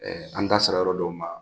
Ɛɛ an da sera yɔrɔ dɔw ma.